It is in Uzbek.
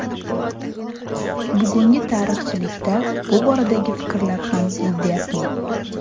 Bugungi tarixchilikda bu boradagi fikrlar ham ziddiyatli.